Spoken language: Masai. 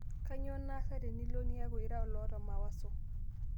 kanyio naasa tenilo niaku ira oloota mawaso